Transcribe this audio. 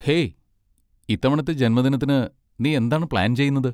Hey, ഇത്തവണത്തെ ജന്മദിനത്തിന് നീ എന്താണ് പ്ലാൻ ചെയ്യുന്നത്?